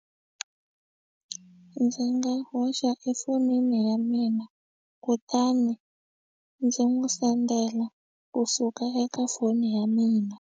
Ndzi nga hoxa efonini ya mina kutani ndzi n'wi sendela kusuka eka foni ya mina.